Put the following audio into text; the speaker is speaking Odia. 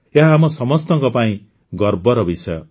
ଏହା ଆମ ସମସ୍ତଙ୍କ ପାଇଁ ଗର୍ବର ବିଷୟ